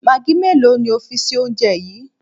Magí mélòó ni o fi sí oúnje yi?